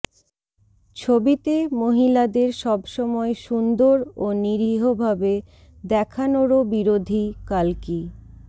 ছবিতে মহিলাদের সবসময় সুন্দর ও নিরীহভাবে দেখানোরও বিরোধী কাল্কি